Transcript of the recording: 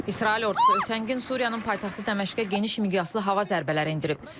İsrail ordusu ötən gün Suriyanın paytaxtı Dəməşqə geniş miqyaslı hava zərbələri endirib.